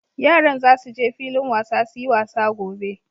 Yaran za su je filin wasa su yi wasa gobe.